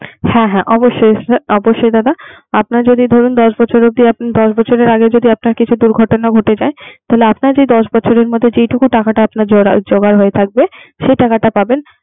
হ্যাঁ হ্যাঁ অবশ্যই অবশ্যই দাদা। আপনার যে দরুন দশ বছরে যে দশ বছরে আগে যদি কোন দূর্ঘটানা ঘটে যায়। তাহলে আপনার যে দশ বছরে মত যেটুকু টাকাটা জমা হয়ে থাকবে সে টাকাটা পাবেন।